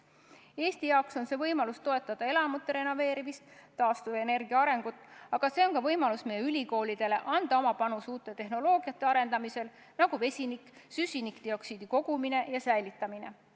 Eesti jaoks on see võimalus toetada elamute renoveerimist ja taastuvenergia arengut, aga see on ka võimalus meie ülikoolidele anda oma panus uute tehnoloogiate arendamisse, näiteks vesinikutehnoloogia, süsinikdioksiidi kogumine ja säilitamine.